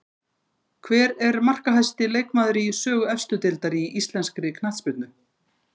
Hver er markahæsti leikmaður í sögu efstu deildar í íslenskri knattspyrnu?